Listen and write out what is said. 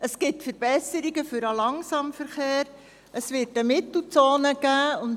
Es gibt Verbesserungen für den Langsamverkehr, und es wird eine Mittelzone geben.